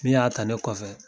Min y'a ta ne kɔfɛ